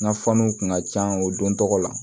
N ka fɔɔnɔ kun ka ca o don tɔgɔ la